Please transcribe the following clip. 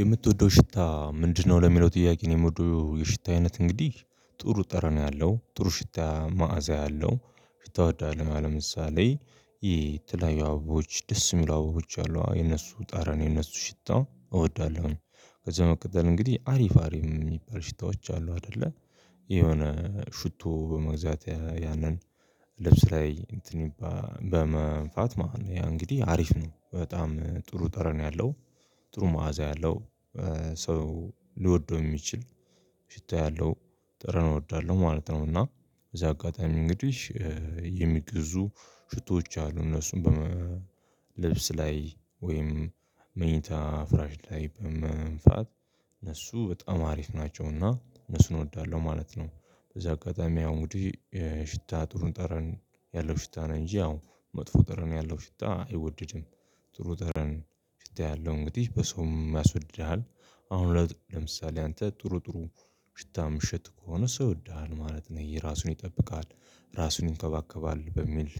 የምትወደው ሽታ ምንድነው? ለሚለው ጥያቄ የምወደው የሽታ አይነት እንግዲህ ጥሩ ጠረና ያለው ጥሩ ሽታ መዓዛ አለው ሽታ እወዳለው። አሁን ለምሳሌ የተለያዩ አበቦች ደስ የሚሉ አበቦች አሉ የነሱን ጠረንን የነሱን ሽታ እወዳለሁኝ። ከዛ በመቀጠል እንግዲህ አሪፋ አሪፍ የሚባሉ ሽታዎች አሉ አይደለ። የሆነ ሽቶ በመግዛት ያንን ልብስ ላይ እንትን በመንፋት ማለት ነው ያ እንግዲህ አሪፍ ነው በጣም ጥሩ ጠረን ያለው። ጥሩ መዓዛ ያለው ሰው ሊወደው የሚችል ሽታ ያለው ጠረን እወዳለሁ ማለት ነው። እና በዚህ አጋጣሚ እንግዲህ የሚገዙ ሽቶዎች አሉ እነሱን በመ ልብስ ላይ ወይም መኝታ ፍራሽ ላይ በመንፋት እነሱ በጣም አሪፍ ናቸውና እነሱን እወዳለሁ ማለት ነው። በዚህ አጋጣሚ አሁን እንግዲህ ሽታ ጥሩን ጠረን ያለው ሽታ ነው እንጂ አዎ መጥፎ ጠረን ያለው ሽታ አይወደድም። ጥሩ ጠረን ሽታ ያለው እንግዲህ በሰውም ያስወድድሃል። አሁን ለምሳሌ አንተ ጥሩ ጥሩ ሽታ ምሽጥ ከሆነ ሰው ይወድሃል ማለት ነው የራሱን ይጠብቃል ራሱን ይንከባከባል በሚል